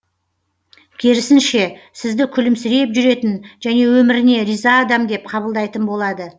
керісінше сізді күлімсіреп жүретін және өміріне риза адам деп қабылдайтын болады